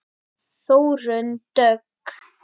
Þórunn Dögg.